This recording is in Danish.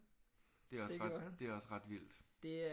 Det er også ret det er også ret vildt